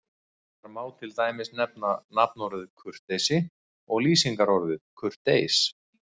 Þar má til dæmis nefna nafnorðið kurteisi og lýsingarorðið kurteis.